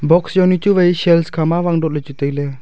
box jownu chu wai shares kha ma awang dot ley chu tai ley.